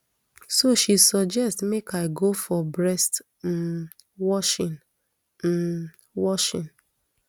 so she suggest make i go for breast um washing um washing